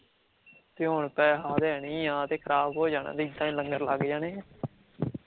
ਤੇ ਹੋਣ ਪੇਹਾ ਆਰੀਆ ਤੇ ਨਹੀਂ ਆ ਤੇ ਖਰਾਬ ਹੋ ਜਾਣਾ, ਤੇ ਲੰਗਰ ਲੱਗ ਜਾਣੇ ਐ